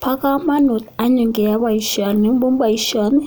Bo komonut anyun keyoe boisioni amun boisioni